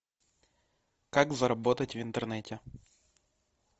как заработать в интернете